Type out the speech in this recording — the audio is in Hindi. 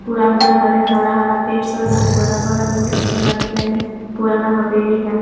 पूरा अंदर हरे हरा-हरा पेड़ सा बहुत बड़ा-बड़ा बहुत अच्छा लगा दिखने में पुराना हवेली है।